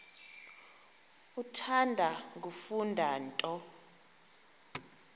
uthanda kufunda nto